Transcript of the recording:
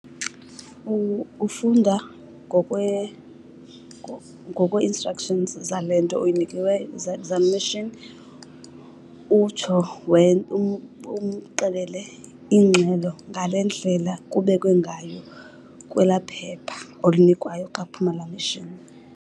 Ufunda ngokwe-instructions zale nto oyinikiweyo, zemashini. Utsho umxelele ingxelo ngale ndlela kubekwe ngayo kwelaa phepha olinikwayo xa kuphuma laa mashini.